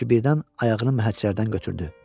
çünki birdən ayağını məhəccərdən götürdü.